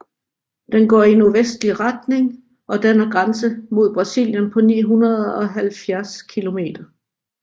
Den går i nordvestlig retning og danner grænse mod Brasilien på 970 kilometer